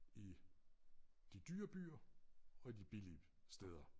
I de dyre byer og i de billige steder